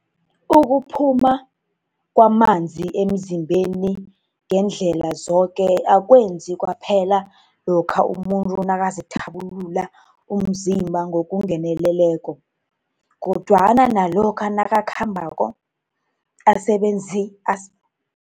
Ukuphuma kwamanzi emzimbeni ngeendlela zoke akwenzeki kwaphela lokha umuntu nakazithabulula umzimba ngokungeneleleko, kodwana nalokha nakakhambako, asebenza